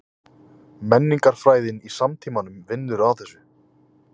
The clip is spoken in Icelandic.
Menningarfræðin í samtímanum vinnur að þessu.